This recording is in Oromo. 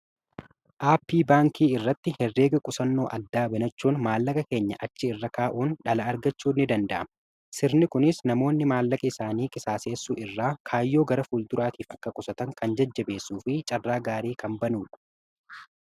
aappii baankii irratti herreega qusannoo addaa banachuun maallaqa keenya achi irra kaa'uun dhala argachuu ni danda'ama sirni kunis namoonni maallaqa isaanii qisaaseessuu irraa kaayyoo gara fulduraatiif akka qusatan kan jajjabeessu fi carraa gaarii kan banuu